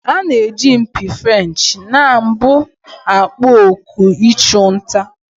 A na-eji mpi Frenchị na mbụ akpọ oku ịchụ nta.